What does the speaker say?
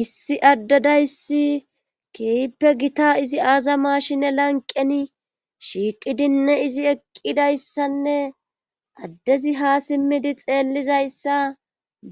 Issi addedayssi keeyippe gita izi aazamashinne lanqeni shiiqidinne izi eqqidayssanne addezi ha simmidi xeellizayssa